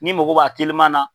N'i mago b'a telima na